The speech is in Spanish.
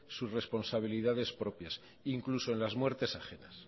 sus responsabilidades propias incluso en las muertes ajenas